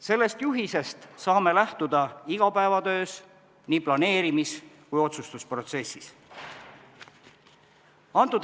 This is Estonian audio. Sellest juhisest saame lähtuda igapäevatöös, nii planeerimis- kui ka otsustusprotsessis.